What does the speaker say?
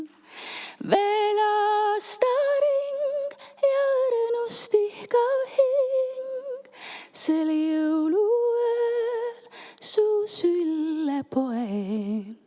Veel aastaring, ja õrnust ihkav hing sel jõuluööl su sülle poeb.